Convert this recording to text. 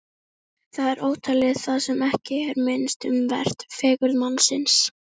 Mér fannst það algjört veikleikamerki að bresta í grát fyrir framan skólafélagana.